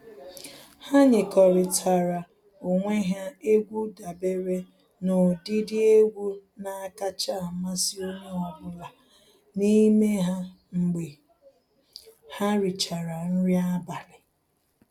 Ha nyekọrịtara onwe ha egwu dabere n'ụdịdị egwu na-akacha amasị onye ọbụla n'ime ha mgbe ha richara nri abalị.